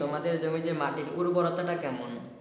তোমাদের জমি যে মাটির উর্বরতা টা কেমন?